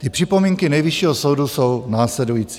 Ty připomínky Nejvyššího soudu jsou následující.